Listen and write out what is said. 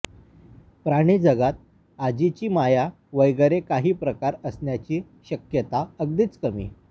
प्राणीजगात आजीची माया वगैरे कांही प्रकार असण्याची शक्यता अगदीच कमी